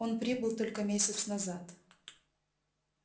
он прибыл только месяц назад